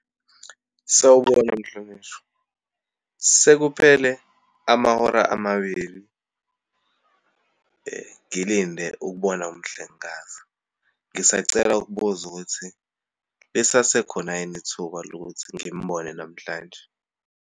Sawubona Mhlonishwa, sekuphele amahora amabili ngilinde ukubona umhlengikazi. Ngisacela ukubuza ukuthi lisasekhona yini ithuba lokuthi ngimbone namhlanje.